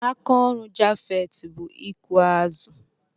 Aka ọrụ Japheth bụ ịkụ azụ.